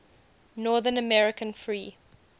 north american free